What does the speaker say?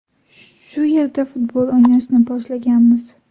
Shu yerda futbol o‘ynashni boshlaganmiz.